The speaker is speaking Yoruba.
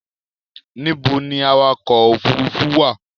Níbo ni awakọ̀ òfurufú wà?